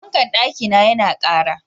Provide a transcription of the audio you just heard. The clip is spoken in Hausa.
Fankan ɗaki na ya na ƙara